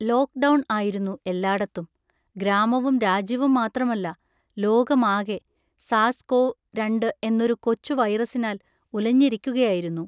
Lock down ആയിരുന്നു എല്ലാടത്തും. ഗ്രാമവും രാജ്യവും മാത്രമല്ല, ലോകമാകെ സാർസ്-കോവ് രണ്ട് എന്നൊരു കൊച്ചു വൈറസിനാൽ ഉലഞ്ഞിരിക്കുകയായിരുന്നു.